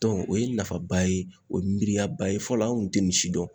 Dɔn o ye nafaba ye o ye miiriyaba ye fɔlɔ an kun te nin si dɔn